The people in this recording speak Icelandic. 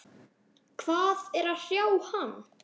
Hvað er að hrjá hann?